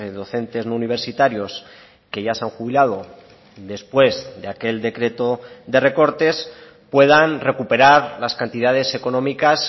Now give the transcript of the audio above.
docentes no universitarios que ya se han jubilado después de aquel decreto de recortes puedan recuperar las cantidades económicas